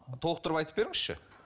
толықтырып айтып беріңізші